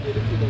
verilib.